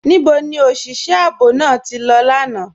Níbò ni oṣiṣẹ̀ ààbò náà tí lọ lána?